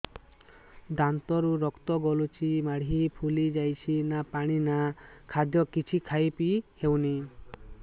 ଦାନ୍ତ ରୁ ରକ୍ତ ଗଳୁଛି ମାଢି ଫୁଲି ଯାଉଛି ନା ପାଣି ନା ଖାଦ୍ୟ କିଛି ଖାଇ ପିଇ ହେଉନି